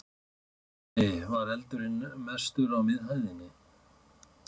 Andri: Var eldurinn mestur á miðhæðinni?